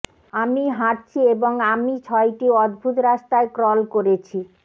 আমি হাঁটছি এবং আমি ছয়টি অদ্ভুত রাস্তায় ক্রল করেছি